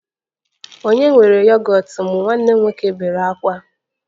Ònye were yogọt m? Nwanne m nwoke bere ákwá